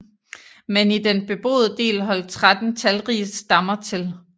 Men i den beboede del holdt 13 talrige stammer til